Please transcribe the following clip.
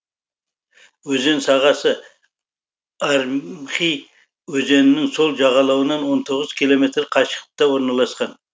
өзен сағасы армхи өзенінің сол жағалауынан он тоғыз километр қашықтықта орналасқан